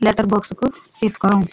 Letter box कु हित करो।